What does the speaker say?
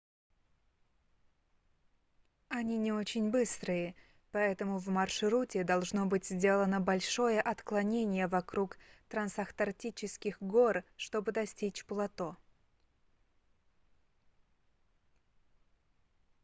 они не очень быстрые поэтому в маршруте должно быть сделано большое отклонение вокруг трансантарктических гор чтобы достичь плато